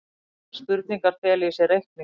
Slíkar spurningar fela í sér reikning.